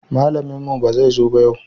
Malamin mu ba zai zo yau ba